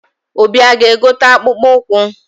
Obi aga-egote akpụkpọ ụkwụ?